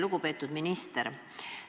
Lugupeetud minister!